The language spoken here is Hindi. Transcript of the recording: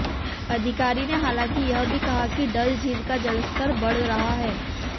अधिकारी ने हालांकि यह भी कहा कि डल झील का जलस्तर बढ़ रहा है